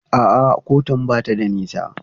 A'a kotun ba ta da nisa.